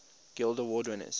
guild award winners